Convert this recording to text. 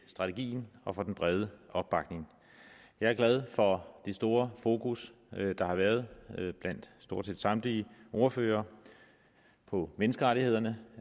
strategien og for den brede opbakning jeg er glad for det store fokus der har været blandt stort set samtlige ordførere på menneskerettighederne